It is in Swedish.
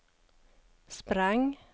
sprang